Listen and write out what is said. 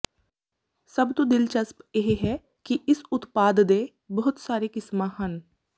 ਸਭ ਤੋਂ ਦਿਲਚਸਪ ਇਹ ਹੈ ਕਿ ਇਸ ਉਤਪਾਦ ਦੇ ਬਹੁਤ ਸਾਰੇ ਕਿਸਮਾਂ ਹਨ